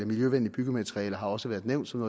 miljøvenlige byggematerialer har også været nævnt som